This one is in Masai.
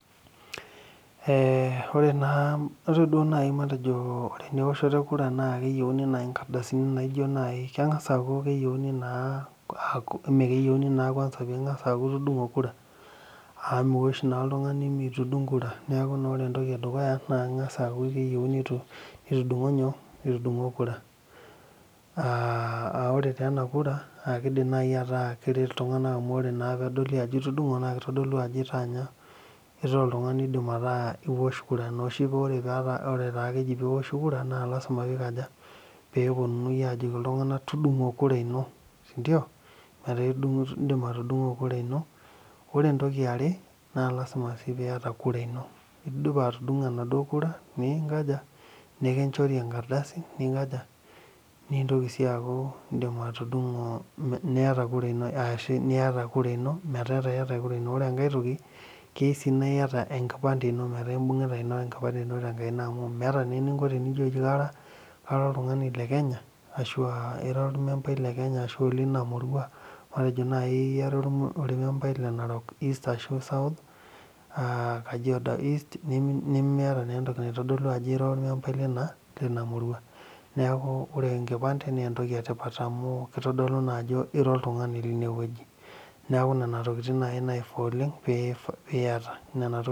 oree naaji matejo ewoshoto e kura naa keyiouni inkardasini naijo naaji , kengasa aaku keyiouni naa ama keyioni naa kwansa peeku itangasa nitudungo kura oree taa ena kura keidim ataa naaji ataa keret iltunganak amu ore naa peedoli ajo itudungo naa keitodolu ajo itaa nyoo itaa oltungani oidim ataa iosh kura ina oshii peeta kejii iosh kura naa lasima peei kaja peeponunui ajoki iltunganak tudungo kura ino ore entoki eare naa lasima sii piata kura ino indipa atudungo enaduo kura ino ninkaja nikinchori enkardasi ninkaja nintoki sii aaku iindim atudungo niata kura ino meeta iata kura ino ore enkai toki keyiu sii niata enkipande ino tenkaina amu meeta naa eninko tenijo kara oltungani le Kenya aashu aa ira olmempai le Kenya aashu olina murua , matejo naaaji ira olmempai le Narok East aashu South , Kajiado East nimiata naa entoki naitodolu ajo ira olmempai lina murua neeku ore enkipante naa entoki etipat amu keitodolu naa ajo ira oltungani line woji neeku nana tokitin naifaa oleng piyata.